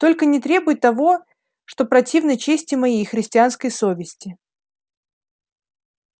только не требуй того что противно чести моей и христианской совести